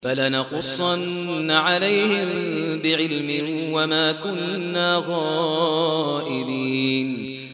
فَلَنَقُصَّنَّ عَلَيْهِم بِعِلْمٍ ۖ وَمَا كُنَّا غَائِبِينَ